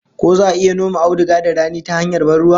Ko za'a iya noma auduga da rani ta hanyar ban ruwa?